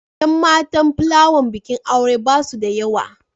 Yan matan plawan bikin aure ba su da yawa.